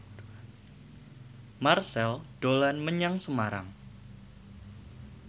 Marchell dolan menyang Semarang